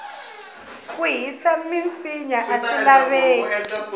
ku hisa minsinya aswi laveki